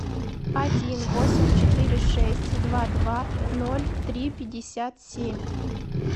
один восемь четыре шесть два два ноль три пятьдесят семь